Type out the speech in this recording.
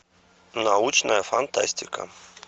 научная фантастика